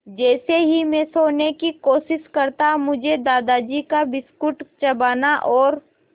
जैसे ही मैं सोने की कोशिश करता मुझे दादाजी का बिस्कुट चबाना और